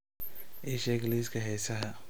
ii sheeg liiska heesaha